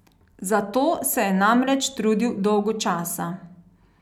Za to se je namreč trudil dolgo časa.